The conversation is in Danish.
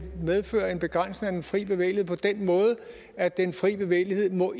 medføre en begrænsning af den fri bevægelighed på den måde at den fri bevægelighed ikke må